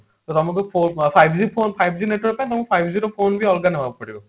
ଯୋଉଟା ଆମକୁ ଫୋ five G ଫୋ five G network ତ ଆମକୁ five G ର phone ବି ହବାକୁ ପଡିବ